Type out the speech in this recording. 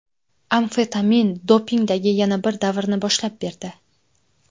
Amfetamin dopingdagi yana bir davrni boshlab berdi.